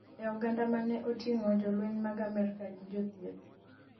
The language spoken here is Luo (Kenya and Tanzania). ei oganda mane otingo jolweny mag Amerka gi jochieth